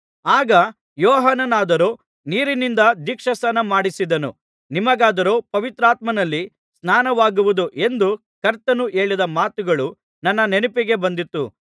ಆಗ ಯೋಹಾನನಾದರೋ ನೀರಿನಿಂದ ದೀಕ್ಷಾಸ್ನಾನಮಾಡಿಸಿದನು ನಿಮಗಾದರೋ ಪವಿತ್ರಾತ್ಮನಲ್ಲಿ ಸ್ನಾನವಾಗುವುದು ಎಂದು ಕರ್ತನು ಹೇಳಿದ ಮಾತುಗಳು ನನ್ನ ನೆನಪಿಗೆ ಬಂದಿತು